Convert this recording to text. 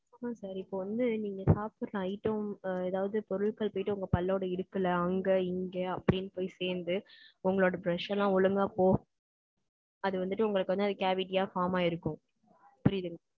No sir, இப்ப வந்து, நீங்க சாப்பிடற item, ஏதாவது பொருட்கள் போயிட்டு, உங்க பல்லோட இடுக்குல்ல, அங்க, இங்க, அப்படின்னு போய் சேர்ந்து, உங்களோட brush எல்லாம், ஒழுங்கா ஒ~ அது வந்துட்டு, உங்களுக்கு வந்து, அது cavity ஆ, form ஆயிருக்கும். புரியுதுங்~